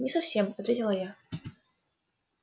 не совсем ответила я